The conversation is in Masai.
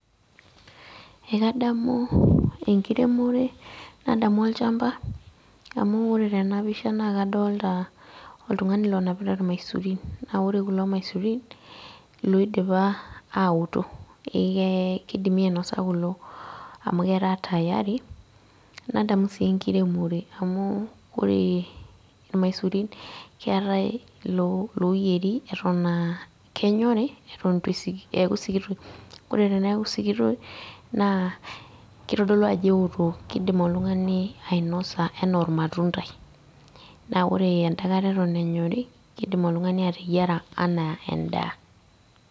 Ekadamu enkiremore, nadamu olchamba, amu ore tenapisha nakadolta oltung'ani lonapita irmaisurin. Na ore kulo maisurin, loidipa aoto. Kidimi ainosa kulo, amu ketaa tayari, nadamu si enkiremore. Amuu ore irmaisurin keetae iloyieri eton ah kenyori, eton itu eku sikitok, ore teneeku sikitok, naa kitodolu ajo eoto. Kidim oltung'ani ainosa enaa ormatuntai. Na ore eda kata eton enyori, kidim oltung'ani ateyiara anaa endaa.